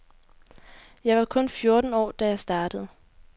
Jeg var kun fjorten år, da jeg startede.